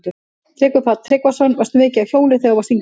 Tryggvi Páll Tryggvason: Varstu mikið á hjóli þegar þú varst yngri?